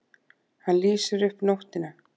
Hann lýsir upp nóttina.